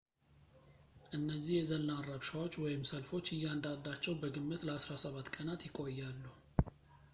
እነዚህ የዘላን ረብሻዎች ወይም ሰልፎች እያንዳንዳቸው በግምት ለ17 ቀናት ይቆያሉ